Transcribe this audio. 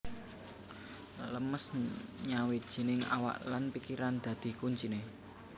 Lemes nyawijining awak lan pikiran dadi kuncine